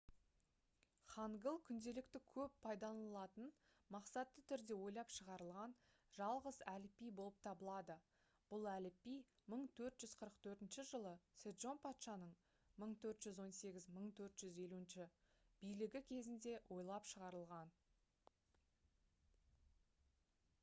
хангыл күнделікті көп пайдаланылатын мақсатты түрде ойлап шығарылған жалғыз әліпби болып табылады бұл әліпби 1444 жылы седжон патшаның 1418 – 1450 билігі кезінде ойлап шығарылған